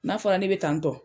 N'a fɔra ne be tantɔ